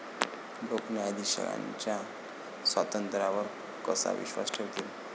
लोकं न्यायाधीशांच्या स्वातंत्र्यावर कसा विश्वास ठेवतील?